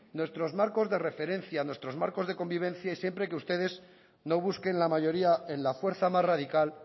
nuestros marcos de referencia nuestros marcos de convivencia y siempre que ustedes no busquen la mayoría en la fuerza más radical